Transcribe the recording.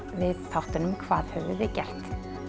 við þáttunum hvað höfum við gert